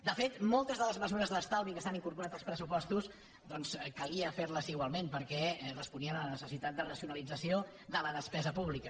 de fet moltes de les mesures d’estalvi que s’han incorporat als pressupostos doncs calia fer les igualment perquè responien a la necessitat de racionalització de la despesa pública